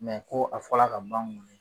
Mɛ ko a fɔla ka ban n